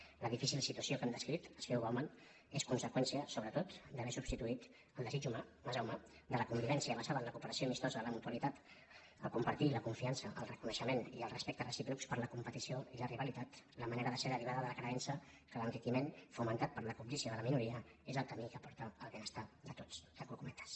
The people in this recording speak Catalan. la difícil situació que hem descrit escriu bau·man és conseqüència sobretot d’haver substituït el desig humà massa humà de la convivència basada en la cooperació amistosa la mutualitat el compartir la confiança el reconeixement i el respecte recíprocs per la competició i la rivalitat la manera de ser deri·vada de la creença que l’enriquiment fomentat per la cobdícia de la minoria és el camí que porta al benes·tar de tots tanco cometes